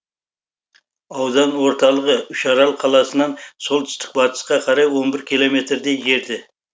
аудан орталығы үшарал қаласынан солтүстік батысқа қарай он бір километрдей жерде